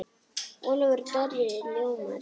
Ólafur Darri ljómar.